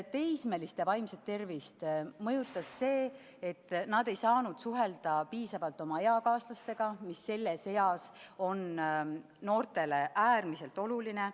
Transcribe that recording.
Teismeliste vaimset tervist mõjutas see, et nad ei saanud piisavalt suhelda oma eakaaslastega, mis on selles eas noortele äärmiselt oluline.